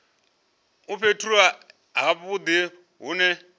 fhethu ha vhudi hu ne